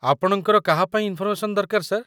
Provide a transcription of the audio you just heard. ଆପଣଙ୍କର କାହା ପାଇଁ ଇନ୍‌ଫର୍‌ମେସନ୍ ଦରକାର, ସାର୍?